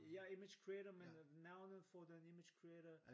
Ja image creator men navnet for den image creator